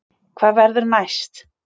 Hvað verður næst